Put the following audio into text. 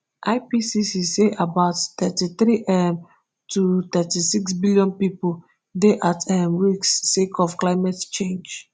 ipcc say about thirty-three um to thirty-six billion pipo dey at um risk sake of climate change